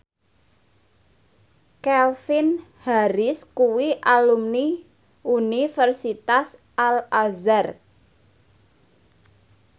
Calvin Harris kuwi alumni Universitas Al Azhar